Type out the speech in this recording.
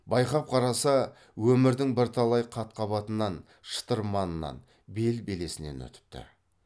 байқап қараса өмірдің бірталай қат қабатынан шытырманынан бел белесінен өтіпті